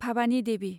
Bhabani Devi